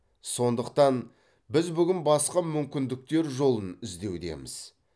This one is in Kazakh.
сондықтан біз бүгін басқа мүмкіндіктер жолын іздеудеміз